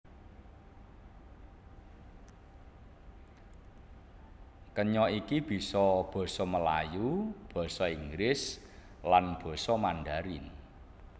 Kenya iki bisa basa Melayu basa Inggris lan basa Mandharin